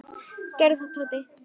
Gerðu það, Tóti!